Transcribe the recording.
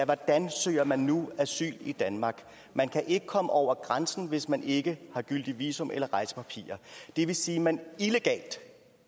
hvordan søger man nu asyl i danmark man kan ikke komme over grænsen hvis man ikke har gyldigt visum eller rejsepapirer det vil sige at man illegalt